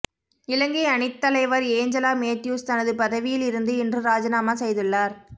இலங்கை அணித்தலைவர் ஏஞ்சலா மேத்யூஸ் தனது பதவியில் இருந்து இன்று ராஜினாமா செய்துள்ளார்